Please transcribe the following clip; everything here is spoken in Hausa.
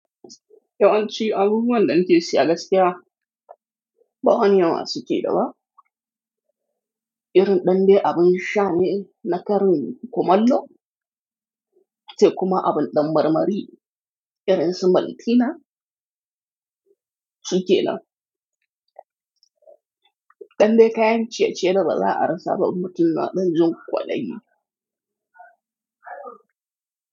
Yawanci abubuwan danake siya gaskiya ba wani yawa suke da ba. Irin dande abin sha ne na karin kumallo sai kuma abin ɗan marmari irin su maltina suke nan. Dande kayan ciye-ciye da ba za a rasa ba in mutum na ɗanjin kwaɗayi.